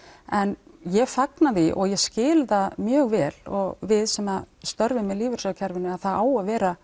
en ég fagna því og ég skil það mjög vel og við sem störfum í lífeyrissjóðakerfinu að það á að vera